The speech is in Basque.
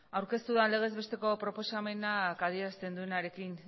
aurkeztu dan legez besteko proposamenak adierazten duenarekin